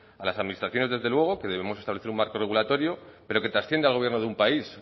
a las administraciones desde luego que debemos establecer un marco regulatorio pero que trasciende al gobierno de un país